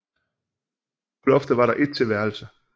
På loftet var der et til værelse